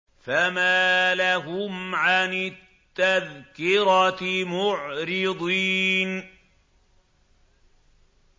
فَمَا لَهُمْ عَنِ التَّذْكِرَةِ مُعْرِضِينَ